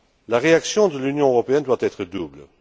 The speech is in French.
La réaction de l'Union européenne doit être double.